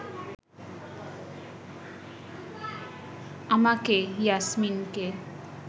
আমাকে, ইয়াসমিনকে